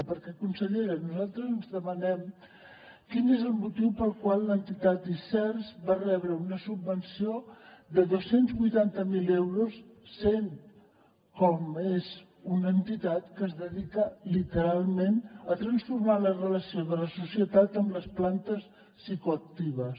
perquè consellera nosaltres ens demanem quin és el motiu pel qual l’entitat iceers va rebre una subvenció de dos cents i vuitanta miler euros sent com és una entitat que es dedica literalment a transformar la relació de la societat amb les plantes psicoactives